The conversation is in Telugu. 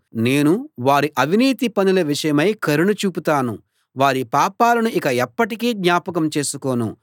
నేను వారి అవినీతి పనుల విషయమై కరుణ చూపుతాను వారి పాపాలను ఇక ఎప్పటికీ జ్ఞాపకం చేసుకోను